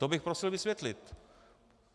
To bych prosil vysvětlit.